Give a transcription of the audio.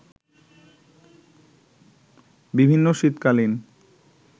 বিভিন্ন শীতকালীন